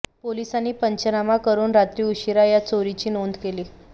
पोलिसांनी पंचनामा करून रात्री उशिरा या चोरीची नोंद केली